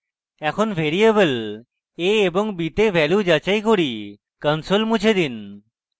এখন variable a এবং b তে ভ্যালু যাচাই console মুছে দিন